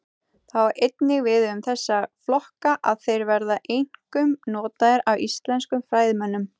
Það á einnig við um þessa flokka að þeir verða einkum notaðir af íslenskum fræðimönnum.